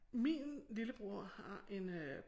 Min lillebror har en øh